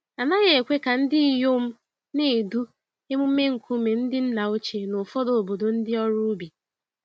A naghị ekwe ka ndinyom na-edu emume nkume ndị nna ochie n'ụfọdụ obodo ndị ọrụ ubi.